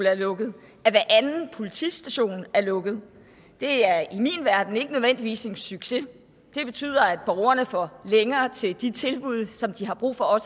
er lukket at hver anden politistation er lukket det er i min verden ikke nødvendigvis en succes det betyder at borgerne får længere til de tilbud som de har brug for at